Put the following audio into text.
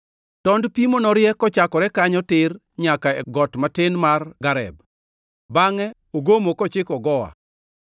Tond pimo norie kochakore kanyo tir nyaka e got matin mar Gareb bangʼe ogomo kochiko Goa.